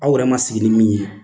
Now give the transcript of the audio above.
Aw yɛrɛ ma sigi ni min ye